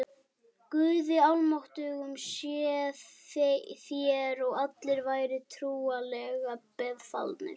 Guði almáttugum séuð þér og allir vær trúlega befalaðir.